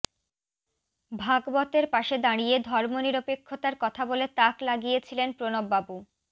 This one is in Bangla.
ভাগবতের পাশে দাঁড়িয়ে ধর্মনিরপেক্ষতার কথা বলে তাক লাগিয়ে ছিলেন প্রণববাবু